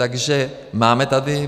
Takže máme tady.